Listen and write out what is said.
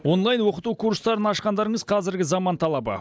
онлайн оқыту курстарын ашқандарыңыз қазіргі заман талабы